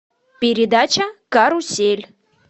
передача карусель